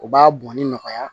U b'a bɔnni nɔgɔya